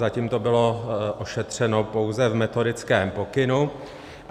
Zatím to bylo ošetřeno pouze v metodickém pokynu.